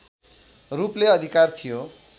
रूपले अधिकार थियो